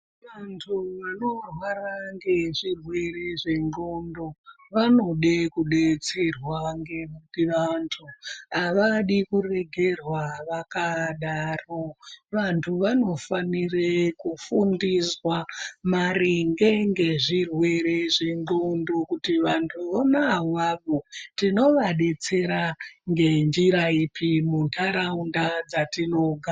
Vantu vanorwara ngezvirwere zvendxondo vanode kubetserwa. Ngekuti vantu havadi kuregerwa vakadaro vantu vanofanire kufundiswa maringe ngezvirwere zvendxondo. Kuti vantu vona avavo tinovabetsera ngenjira ipi muntaraunda dzatinogara.